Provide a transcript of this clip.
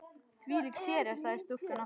Þvílík sería sagði stúlkan aftur.